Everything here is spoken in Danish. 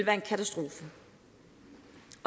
en katastrofe